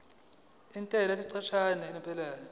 intela yesikhashana yokuqala